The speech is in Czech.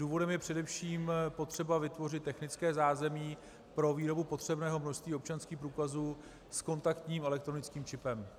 Důvodem je především potřeba vytvořit technické zázemí pro výrobu potřebného množství občanských průkazů s kontaktním elektronickým čipem.